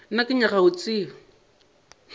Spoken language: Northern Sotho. nna ke nyaka go tseba